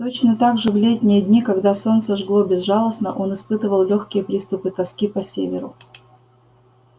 точно так же в летние дни когда солнце жгло безжалостно он испытывал лёгкие приступы тоски по северу